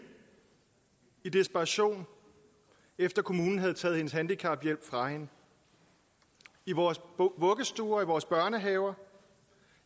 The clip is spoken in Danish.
i desperation efter at kommunen havde taget hendes handicaphjælp fra hende i vores vuggestuer og i vores børnehaver